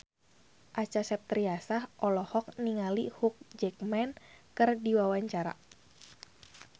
Acha Septriasa olohok ningali Hugh Jackman keur diwawancara